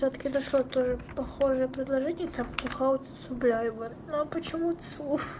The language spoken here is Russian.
все таки дошло тоже похожие предложения там хаусу гуляет но почему то слов